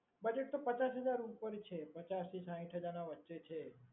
budget તો પચાસ હજાર ઉપર છે, પચાસ થી સાઈઠ હજારના વચ્ચે છે.